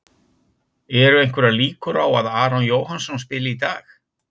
Eru einhverjar líkur á að Aron Jóhannsson spili í dag?